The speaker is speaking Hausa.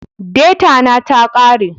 Deta na ta kare